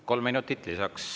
Kolm minutit lisaks.